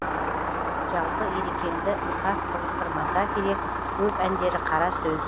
жалпы ерекеңді ұйқас қызықтырмаса керек көп әндері қара сөз